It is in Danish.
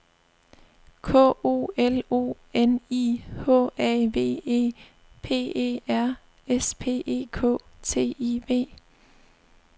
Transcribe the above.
K O L O N I H A V E P E R S P E K T I V